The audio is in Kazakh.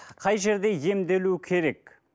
қай жерде емделу керек